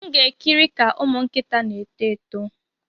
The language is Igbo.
M ga-ekiri ka ụmụ nkịta na-eto eto.